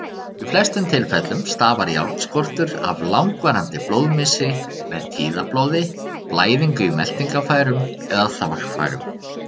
Í flestum tilfellum stafar járnskortur af langvarandi blóðmissi, með tíðablóði, blæðingu í meltingarfærum eða þvagfærum.